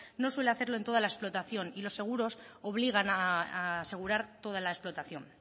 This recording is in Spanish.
no suele hacerlo en toda la explotación y los seguros obligan a asegurar toda la explotación